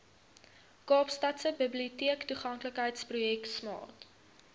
kaapstadse biblioteektoeganklikheidsprojek smart